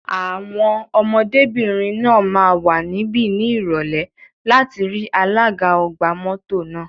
Àwọn ọmọdébìnrin náà máa wà níbí ní Ìrọ̀lẹ́ láti rí alága ọgbà mọ́tò náà.